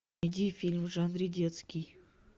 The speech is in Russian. найди фильм в жанре детский